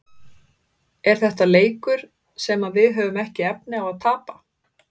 Er þetta leikur sem að við höfum ekki efni á að tapa?